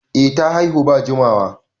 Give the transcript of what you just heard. Eh ta haihu ba jimawa